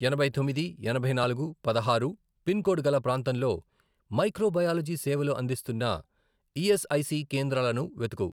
ఎనభై తొమ్మిది, ఎనభై నాలుగు, పదహారు, పిన్ కోడ్ గల ప్రాంతంలో మైక్రో బయాలజీ సేవలు అందిస్తున్న ఈఎస్ఐసి కేంద్రాలను వెతుకు.